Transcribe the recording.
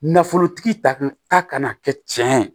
Nafolotigi ta kun ta kana kɛ tiɲɛ ye